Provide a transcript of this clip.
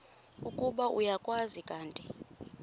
ukuba uyakwazi kanti